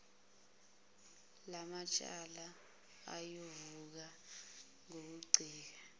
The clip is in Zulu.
lamacala ayovuleka ngokuncika